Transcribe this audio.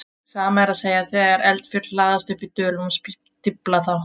Sama er að segja þegar eldfjöll hlaðast upp í dölum og stífla þá.